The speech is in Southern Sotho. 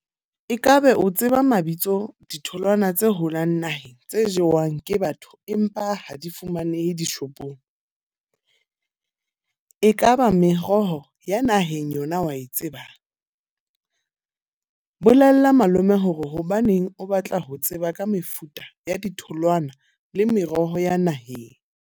E ka be o tseba mabitso ditholwana tse holang naheng, tse jewang ke batho empa ha di fumanehe dishopong. Ekaba meroho ya naheng yona wa e tsebang? Bolella malome hore hobaneng o batla ho tseba ka mefuta ya ditholwana le meroho ya naheng.